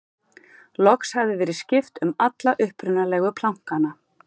loks hafði verið skipt um alla upprunalegu plankana